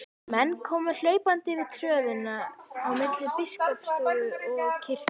Menn komu hlaupandi yfir tröðina á milli biskupsstofu og kirkju.